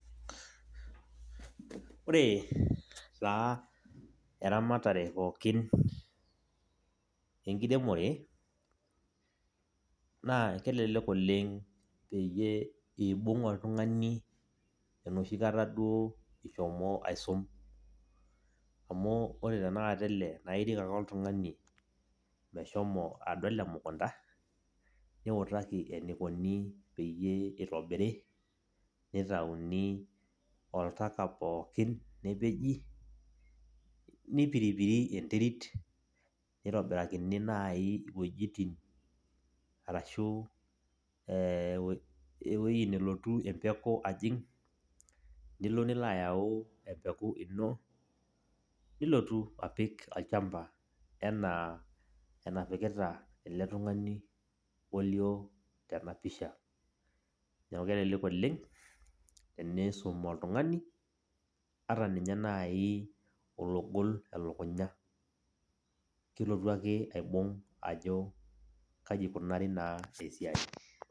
Ore taa eramatare pookin enkiremore, naa kelelek oleng' peyie ibung' oltung'ani enoshi kata duo ishomo aisum. Amu ore tanakata ele, na irik ake oltung'ani meshomo adol emukunda, niutaki enikoni peyie itobiri, nitauni oltaka pookin nepeji, nipiripiri enterit, nitobirakini nai iwuejiting arashu eh ewoi nelotu empeku ajing',nilo nilayau lempeku ino, nilotu apik olchamba enaa enapikita ele tung'ani olio tenapisha. Neeku kelelek oleng, tenisum oltung'ani, ata ninye nai ologol elukunya. Kelotu ake aibung' ajo kaji ikunari naa esiai.